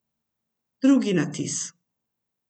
Drugi natis.